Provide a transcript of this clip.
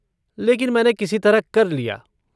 लेकिन मैंने किसी तरह कर लिया।